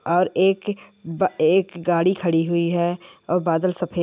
और एक ब एक गाड़ी खड़ी हुई है। और बादल सफेद--